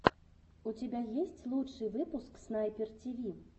у тебя есть лучший выпуск снайпер тиви